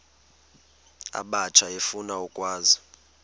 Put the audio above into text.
abatsha efuna ukwazi